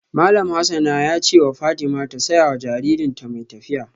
Malam Hassan ya ce wa Fatima ta saya wa jaririnta mai tafiya.